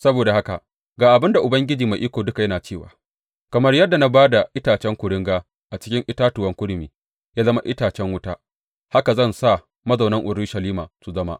Saboda haka ga abin da Ubangiji Mai Iko Duka yana cewa kamar yadda na ba da itacen kuringa a cikin itatuwan kurmi ya zama itacen wuta, haka zan sa mazaunan Urushalima su zama.